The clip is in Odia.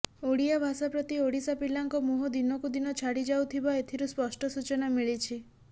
ଓଡ଼ିଆ ଭାଷା ପ୍ରତି ଓଡ଼ିଶା ପିଲାଙ୍କ ମୋହ ଦିନକୁ ଦିନ ଛାଡ଼ିଯାଉଥିବା ଏଥିରୁ ସ୍ପଷ୍ଟ ସୂଚନା ମିଳିଛି